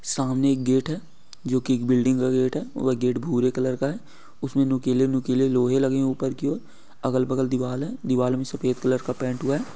सामने एक गेट है जो कि एक बिल्डिंग का गेट है। वह गेट भूरे कलर का है। उसमें नुकीले नुकीले लोहे लगे हैं ऊपर ओर। अगल बगल दीवाल है। दीवाल में सफ़ेद कलर का पेंट हुआ है।